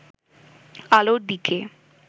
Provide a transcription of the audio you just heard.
আলোর দিকে